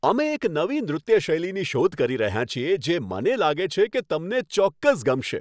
અમે એક નવી નૃત્ય શૈલીની શોધ કરી રહ્યાં છીએ જે મને લાગે છે કે તમને ચોક્કસ ગમશે.